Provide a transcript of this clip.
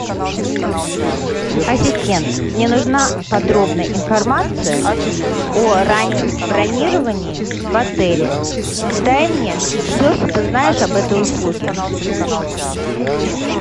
ассистент мне нужна подробная информация о раннем бронировании в отеле дай мне все что ты знаешь об этой услуге